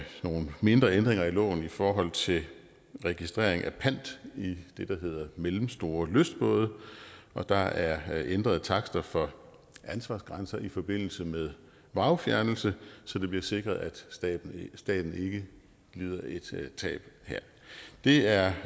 nogle mindre ændringer i loven i forhold til registrering af pant i det der hedder mellemstore lystbåde og der er ændrede takster for ansvarsgrænser i forbindelse med vragfjernelse så det bliver sikret at staten ikke lider et tab her det er